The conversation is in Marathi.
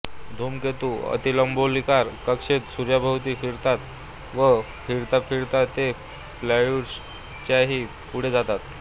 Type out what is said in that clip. धूमकेतू अतिलंबगोलाकार कक्षेत सूर्याभोवती फिरतात व फिरताफिरता ते प्लूटोच्याही पुढे जातात